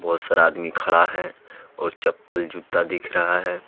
बहुत सारा आदमी खड़ा है और चप्पल-जूता दिख रहा है।